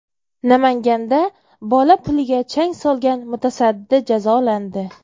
Namanganda bola puliga chang solgan mutasaddi jazolandi.